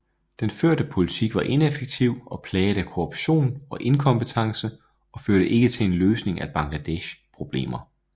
Den førte politik var ineffektiv og plaget af korruption og inkompetence og førte ikke til en løsning af Bangladeshs problemer